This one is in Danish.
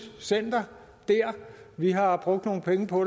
center der vi har brugt nogle penge på